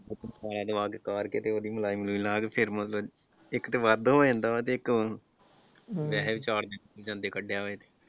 ਉਬਾਲਾ ਦਵਾ ਕੇ ਕਾੜ ਕੇ ਤੇ ਉਹਦੀ ਮਲਾਈ ਮਲੁਈ ਲਾਹ ਕੇ ਫਿਰ ਮਤਲਬ ਇਸ ਤੋਂ ਵੱਧ ਹੋ ਜਾਂਦਾ ਹੈ ਤੇ ਇੱਕ .